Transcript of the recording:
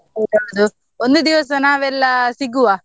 ಹೌದೌದು, ಒಂದು ದಿವಸ ನಾವೆಲ್ಲ ಸಿಗುವ.